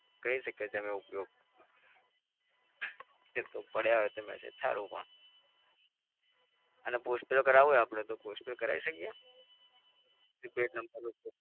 કરી શકાય તેનો ઉપયોગ. પડ્યા હોય તો message સારુ પણ. અને postpaid કરાવવું હોય આપડે તો પોસ્ટપેડ કરાવી શકીએ પ્રીપેડ નંબર પર?